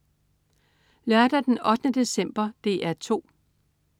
Lørdag den 8. december - DR 2: